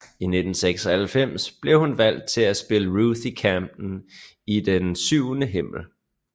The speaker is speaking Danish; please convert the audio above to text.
I 1996 blev hun valgt til at spille Ruthie Camden i I den syvende himmel